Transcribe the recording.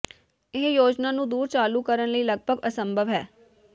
ਇਹ ਯੋਜਨਾ ਨੂੰ ਦੂਰ ਚਾਲੂ ਕਰਨ ਲਈ ਲਗਭਗ ਅਸੰਭਵ ਹੈ